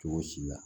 Cogo si la